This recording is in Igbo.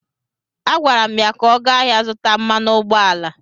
A gwara m ya ka ọ gaa ahịa zụta mmanụ ụgbọala!